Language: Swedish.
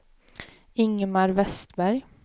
Ingemar Westberg